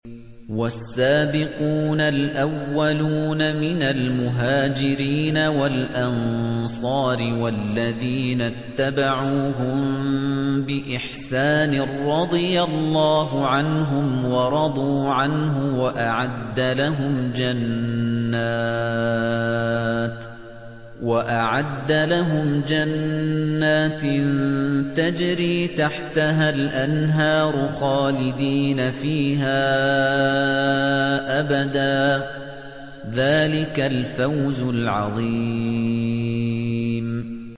وَالسَّابِقُونَ الْأَوَّلُونَ مِنَ الْمُهَاجِرِينَ وَالْأَنصَارِ وَالَّذِينَ اتَّبَعُوهُم بِإِحْسَانٍ رَّضِيَ اللَّهُ عَنْهُمْ وَرَضُوا عَنْهُ وَأَعَدَّ لَهُمْ جَنَّاتٍ تَجْرِي تَحْتَهَا الْأَنْهَارُ خَالِدِينَ فِيهَا أَبَدًا ۚ ذَٰلِكَ الْفَوْزُ الْعَظِيمُ